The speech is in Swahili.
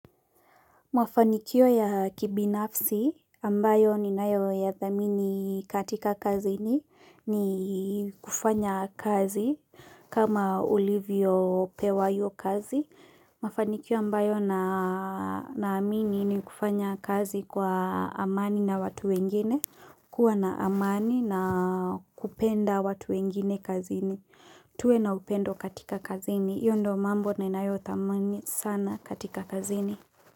Mwafanikio ya kibinafsi, ambayo ni nayo ya thamini katika kazini, ni kufanya kazi, kama ulivyo pewa iyo kazi. Mafanikio ambayo na amini ni kufanya kazi kwa amani na watu wengine, kuwa na amani na kupenda watu wengine kazini. Tue na upendo katika kazini, iyo ndo mambo na nayo thamini sana katika kazini.